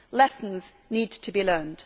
Lessons need to be learnt.